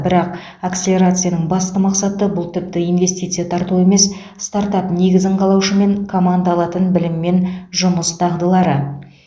бірақ акселерацияның басты мақсаты бұл тіпті инвестиция тарту емес стартап негізін қалаушы мен команда алатын білім мен жұмыс дағдылары